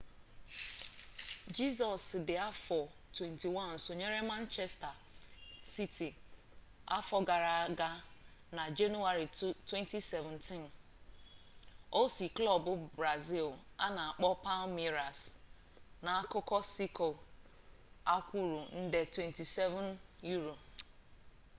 jesus di afo 21 sonyere manchester city afo gara aga na januari 2017 o si klub brazil ana akpo palmeiras k'akuko siko akwuru nde £27